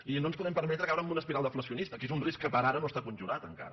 i no ens podem permetre caure en una espiral deflacionista que és un risc que per ara no està conjurat encara